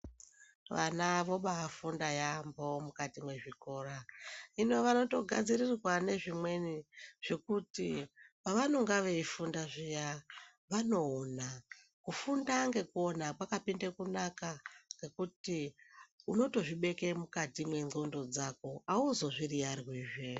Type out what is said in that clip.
Vana vobafunda yaambo mukati mwezvikora. Hino vanotogadzirirwa nezvimweni zvokuti pavanonga veifunda zviya vanoona. Kufunda ngekuona kwakapinde kunaka ngekuti unotozvibeke mukati mwendxondo dzako hauzozviyiyarwizve.